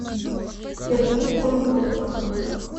сергей кундусов